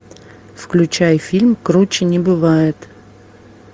включай фильм круче не бывает